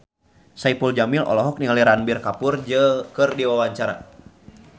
Saipul Jamil olohok ningali Ranbir Kapoor keur diwawancara